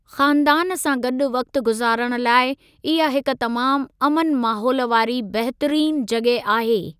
ख़ानदान सां गॾु वक़्तु गुज़ारणु लाइ इहा हिक तमामु अमन माहोल वारी बहितरीनु जॻहि आहे।